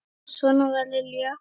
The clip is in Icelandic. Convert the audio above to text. Svona var Lilja.